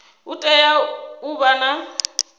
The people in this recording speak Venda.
u tea u vha na